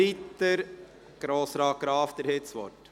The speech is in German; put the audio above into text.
– Wir setzen die Beratungen fort.